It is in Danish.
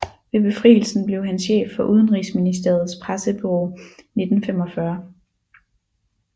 Ved befrielsen blev han chef for Udenrigsministeriets pressebureau 1945